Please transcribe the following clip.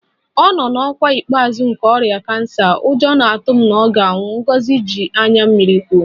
Ọ nọ n'ọkwa ikpeazụ nke ọrịa kansa, ụjọ na-atụ m na ọ ga-anwụ, Ngozi ji anya mmiri kwuo